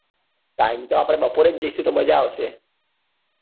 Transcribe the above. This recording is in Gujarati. time તો આપડે બપોરે જ જઈસુ તો મજા આવશે